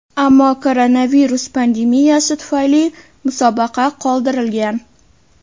Ammo koronavirus pandemiyasi tufayli musobaqa qoldirilgan.